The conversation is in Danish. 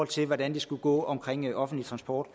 til hvordan det skulle gå med offentlig transport